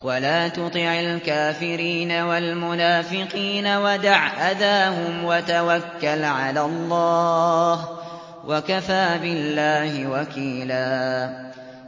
وَلَا تُطِعِ الْكَافِرِينَ وَالْمُنَافِقِينَ وَدَعْ أَذَاهُمْ وَتَوَكَّلْ عَلَى اللَّهِ ۚ وَكَفَىٰ بِاللَّهِ وَكِيلًا